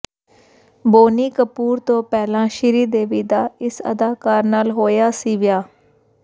ਬੋਨੀ ਕਪੂਰ ਤੋਂ ਪਹਿਲਾ ਸ਼੍ਰੀਦੇਵੀ ਦਾ ਇਸ ਅਦਾਕਾਰ ਨਾਲ ਹੋਇਆ ਸੀ ਵਿਆਹ